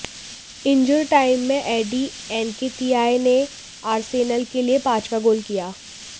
injure time में Eddie Nketiah ने Arsenal के लिए पांचवां गोल किया